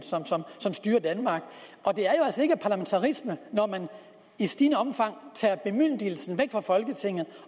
som styrer danmark og det er jo altså ikke parlamentarisme når man i stigende omfang tager bemyndigelsen væk fra folketinget